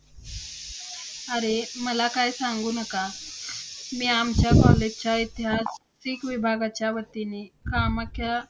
अरे मला काय सांगू नका. मी आमच्या college च्या ऐतिहासिक विभागाच्या वतीने कामाच्या~